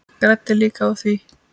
Græddi líka á því.